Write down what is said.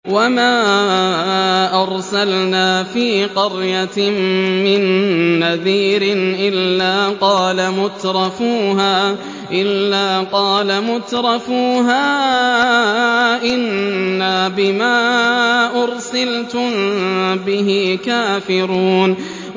وَمَا أَرْسَلْنَا فِي قَرْيَةٍ مِّن نَّذِيرٍ إِلَّا قَالَ مُتْرَفُوهَا إِنَّا بِمَا أُرْسِلْتُم بِهِ كَافِرُونَ